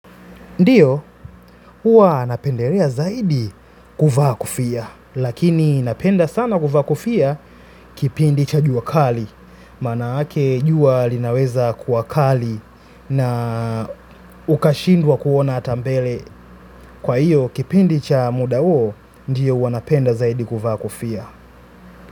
Ndiyo, uwa napenderea zaidi kuvaa kofia, lakini napenda sana kuvaa kofia kipindi cha juwa kali, manaake juwa linaweza kuwakali na ukashindwa kuona ata mbele kwa iyo kipindi cha muda uo, ndiyo uwa napenda zaidi kuvaa kofia.